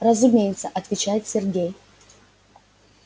разумеется отвечает сергей